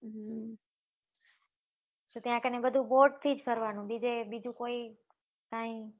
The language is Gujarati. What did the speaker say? તો ત્યાં કને બધું boat થી જ ફરવા નું બીજે બીજું કઈ